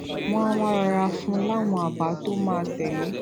wón á wá rọra fún un láwọn àbá tó máa tèlé